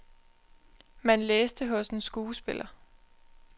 Man læste hos en skuespiller.